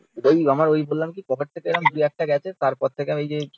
ঐ আমার ঐ বললাম কী পকেট থেকে এরম দু একটা গেছে তারপর থেকে ঐ যে